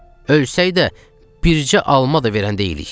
Ölsəydə bircə alma da verən deyilik.